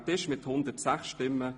Ursula Zybach mit 106 Stimmen